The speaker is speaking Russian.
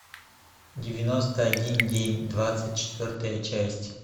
девяносто один день двадцать четвертая часть